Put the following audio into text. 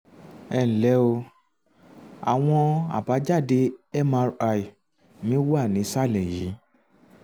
ẹ ǹlẹ́ o àwọn àbájáde mri mi wà nísàlẹ̀ um yìí